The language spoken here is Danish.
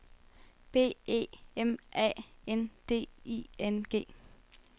B E M A N D I N G